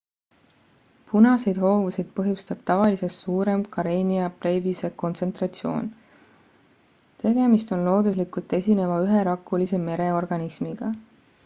punaseid hoovuseid põhjustab tavalisest suurem karenia brevise kontsentratsioon tegemist on looduslikult esineva üherakulise mereorganismiga